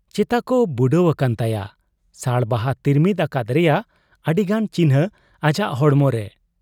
ᱪᱮᱛᱟᱠᱚ ᱵᱩᱰᱟᱹᱣ ᱟᱠᱟᱱ ᱛᱟᱭᱟ ᱾ ᱥᱟᱲ ᱵᱟᱦᱟ ᱛᱤᱨᱢᱤᱫ ᱟᱠᱟᱫ ᱨᱮᱭᱟᱜ ᱟᱹᱰᱤᱜᱟᱱ ᱪᱤᱠᱷᱱᱟᱹ ᱟᱡᱟᱜ ᱦᱚᱲᱢᱚᱨᱮ ᱾